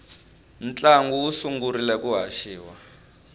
ntlangu wu sungurile ku haxiwa